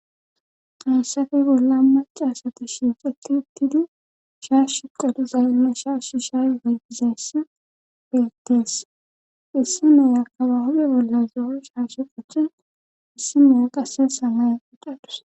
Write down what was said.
hayssafe bolla macasata shiixeti ittidu shaas shu qadu zayinme shaas shi shaygeytizeess bettees issi mey akaba hube bolla zo7o shaashi qochchen issi mea qase samay qudadus